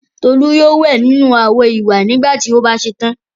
Tolú yóò wẹ̀ nínú àwo-ìwẹ̀ nígbà tí ó bá ṣe tán.